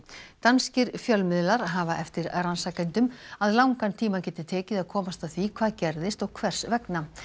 danskir fjölmiðlar hafa eftir rannsakendum að langan tíma geti tekið að komast að því hvað gerðist og hvers vegna